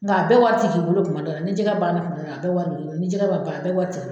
Nga a bɛ wari t'i k'i bolo kuma dɔ la, ni jɛgɛ banna kuma dɔ la a bɛ wari bɛ k'i bolo, ni jɛgɛ ma ban a bɛ wari t'i